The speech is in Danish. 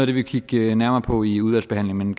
vi vil kigge nærmere på i udvalgsbehandlingen